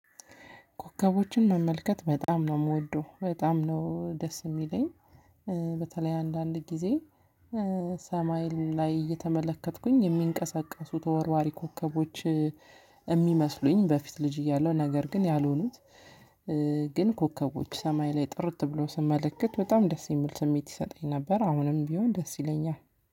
ኮከቦችን መመልከት በጣም ነው የምወደው በጣም ነው ደስ የሚለኝ። በተለይ አንዳንድ ጊዜ ሰማይ ላይ እየተመለከትኩኝ የሚንቀሳቀሱት ተወርዋሪ ኮከቦች። የሚመስሉኝ በፊት ልጅ እያለሁ ነገር ግን ያልሆኑት። ግን ኮከቦች ሰማይ ላይ ጥርት ብለው ስመለከት በጣም ደስ የሚል ስሜት ይሰጠኝ ነበር። አሁንም ቢሆን ደስ ይለኛል።